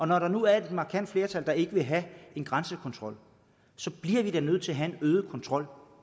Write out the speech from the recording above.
når der nu er et markant flertal der ikke vil have en grænsekontrol så bliver vi da nødt til at have en øget kontrol